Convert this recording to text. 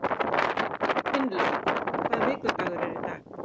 Finnlaug, hvaða vikudagur er í dag?